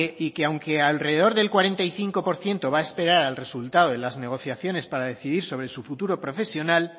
y que aunque alrededor del cuarenta y cinco por ciento va a esperar al resultado de las negociaciones para decidir sobre su futuro profesional